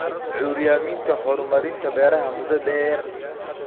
Curyaaminta horumarinta beeraha muddada-dheer.